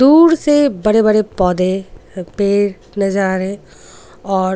दूर से बड़े-बड़े पौधे पेड़ नजर आ रहे हैं और.